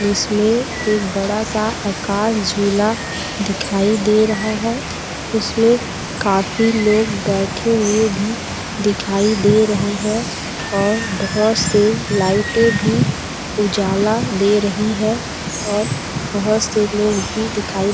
इसमें एक बड़ा सा आकाश झूला दिखाई दे रहा है उसमे काफी लोग बैठे हुए भी दिखाई दे रहे है और बहुत सी लाइटे भी उजाला दे रही हे और बहुत से लोग भी दिखाई--